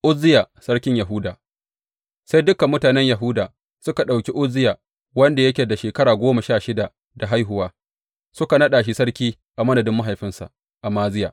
Uzziya sarkin Yahuda Sai dukan mutanen Yahuda suka ɗauki Uzziya wanda yake da shekara goma sha shida da haihuwa, suka naɗa shi sarki a madadin mahaifinsa Amaziya.